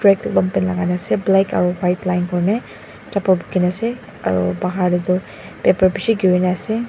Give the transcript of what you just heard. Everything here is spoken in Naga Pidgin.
ekta longpant lagai na ase black aro white line kurne chappal buki na ase aro bahar de tu paper bishi giri na ase.